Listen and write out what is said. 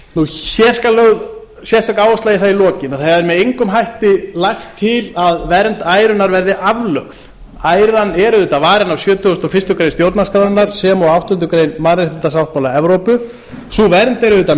hér skal lögð sérstök áhersla á það í lokin að það er með engum hætti lagt til að vernd ærunnar verði aflögð æran er auðvitað varin af sjötugasta og fyrstu grein stjórnarskrárinnar sem og áttundu grein mannréttindasáttmála evrópu sú vernd er auðvitað